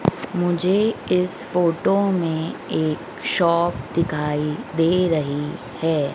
मुझे इस फोटो में एक शॉप दिखाई दे रही है।